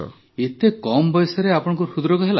ଏତେ କମ୍ ବୟସରେ ଆପଣଙ୍କୁ ହୃଦରୋଗ ହେଲା